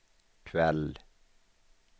kväll